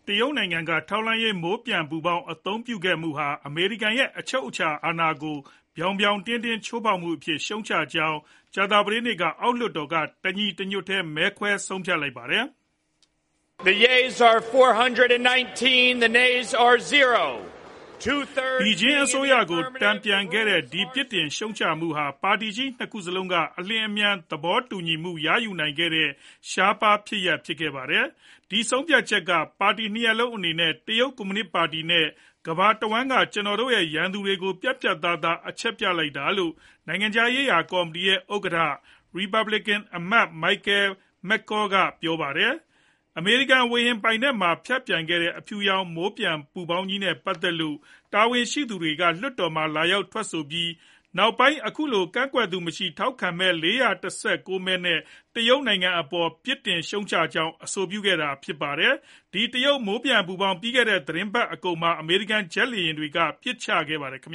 တရုတ်နိုင်ငံက ထောက်လှမ်းရေး မိုးပျံ ပူဖောင်း အသုံးပြုခဲ့မှုဟာ အမေရိကန်ရဲ့ အချုပ်အခြာအာဏာကို ပြောင်ပြောင်တင်းတင်း ချိုးဖောက်မှုအဖြစ် ရှုတ်ချကြောင်း ကြာသပတေးနေ့မှာ အောက်လွှတ်တော်က တညီတညွတ်တည်း မဲခွဲဆုံးဖြတ်ခဲ့ကြပါတယ်။ ဘေဂျင်း အစိုးရကို တန်ပြန်ခဲ့ကြတဲ့ ဒီပြစ်တင်ရှုတ်ချမှုဟာ ပါတီကြီး နှစ်ခုစလုံးက အလျင်အမြန် သဘောတူညီမှု ရယူနိုင်ခဲ့ကြတဲ့ ရှားပါးဖြစ်ရပ်ဖြစ်ခဲ့ပါတယ်။ "ဒီဆုံးဖြတ်ချက်က ပါတီ နှစ်ရပ်လုံး အနေနဲ့ တရုတ်ကွန်မြူနစ် ပါတီနဲ့ ကမ္ဘာတဝှမ်းက ကျွန်တော်တို့ရဲ့ ရန်သူတွေကို ပြတ်ပြတ်သားသား အချက်ပြလိုက်တာ" လို့ နိုင်ငံခြားရေးရာကော်မတီရဲ့ ဥက္ကဋ္ဌ ရီပတ်ဘလစ်ကန် အမတ် မိုက်ကယ်မက်ကောလ် Michael McCaul က ပြောပါတယ်။ အမေရိကန် ဝေဟင် ပိုင်နက်ထဲမှာ ဖြတ်ပျံခဲ့တဲ့ အဖြူရောင် မိုးပျံပူဖောင်းကြီးနဲ့ ပတ်သက်လို့ တာဝန်ရှိသူတွေက လွှတ်တော်မှာ လာရောက် ထွက် ဆိုပြီး နောက်ပိုင်း အခုလို ကန့်ကွက်သူမရှိဘဲ ထောက်ခံမဲ ၄၁၉ မဲ နဲ့ တရုတ်နိုင်ငံ အပေါ် ရှုတ်ချကြောင်း အဆိုပြုနိုင်ခဲ့တာပါ။ ဒီ တရုတ် မိုးပျံ ပူဖောင်း ပြီးခဲ့တဲ့ သတင်းပတ် အကုန်မှာ အမေရိကန် ဂျက်လေယာဉ်တွေက ပစ်ချခဲ့ပါတယ်။ နိုင်